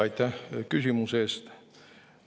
Aitäh küsimuse eest!